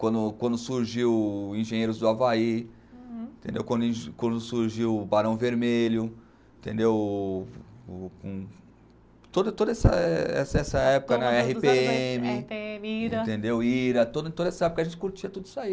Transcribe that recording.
quando quando surgiu Engenheiros do Havaí, entendeu quando surgiu Barão Vermelho, entendeu toda toda essa essa época, érre pê eme, ira, toda essa época a gente curtia tudo isso aí.